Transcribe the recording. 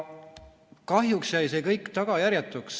Kahjuks jäi see kõik tagajärjetuks.